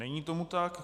Není tomu tak.